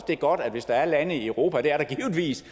det er godt hvis der er lande i europa og det er der givetvis